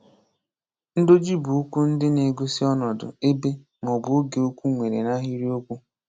Ndoji bụ okwu ndị na-égosi ọnọdụ, ebe, maọbụ oge okwu nwere n'ahịrịokwu.